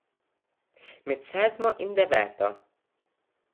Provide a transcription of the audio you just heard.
Med sedmo in deveto.